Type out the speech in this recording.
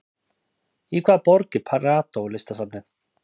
Í hvaða borg er Prado listasafnið?